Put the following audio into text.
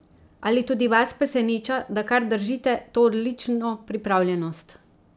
Ali tudi vas preseneča, da kar držite to odlično pripravljenost?